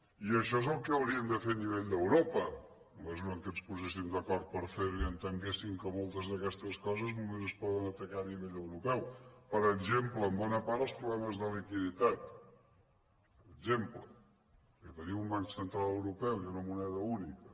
i això és el que hauríem de fer a nivell d’eu·ropa en la mesura que ens poséssim d’acord per fer·ho i entenguéssim que moltes d’aquestes coses només es poden atacar a nivell europeu per exemple en bona part els problemes de liquiditat per exemple que tenim un banc central europeu i una moneda única